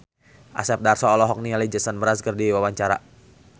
Asep Darso olohok ningali Jason Mraz keur diwawancara